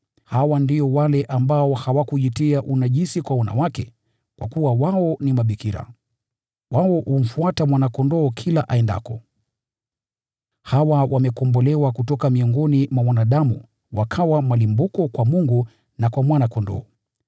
Hawa ndio wale ambao hawakujitia unajisi kwa wanawake, kwa kuwa wao ni bikira. Wao humfuata Mwana-Kondoo kila aendako. Hawa wamekombolewa kutoka miongoni mwa wanadamu wakawa malimbuko kwa Mungu na kwa Mwana-Kondoo.